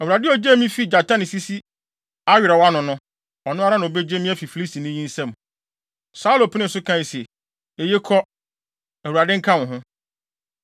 Awurade a ogyee me fii gyata ne sisi awerɛw ano no, ɔno ara na obegye me afi Filistini yi nsam.” Saulo penee so kae se, “Eye, kɔ. Awurade nka wo ho.”